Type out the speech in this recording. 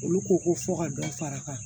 Olu ko ko fɔ ka dɔ fara a kan